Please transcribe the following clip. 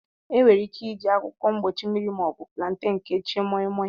Enwere ike iji akwụkwọ mgbochi mmiri ma ọ bụ plantain kechie Moimoi.